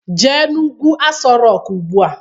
Jee n'ugwu Aso Rọk ugbua!